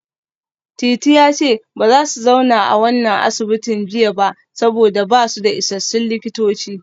Titi ya ce ba za su zauna a wannan asibitin jiya ba saboda ba su da isassun likitoci